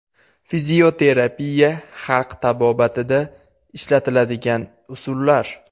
Fizioterapiya Xalq tabobatida ishlatiladigan usullar.